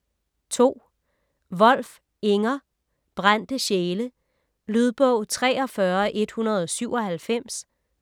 Wolf, Inger: Brændte sjæle Lydbog 43197